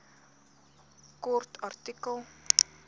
kort artikel